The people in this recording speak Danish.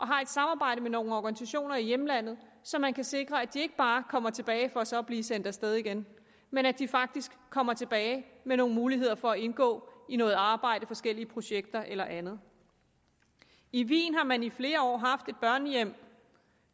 har et samarbejde med nogle organisationer i hjemlandet så man kan sikre at de ikke bare kommer tilbage for så at blive sendt af sted igen men at de faktisk kommer tilbage med nogle muligheder for at indgå i noget arbejde i forskellige projekter eller andet i wien har man i flere år haft et børnehjem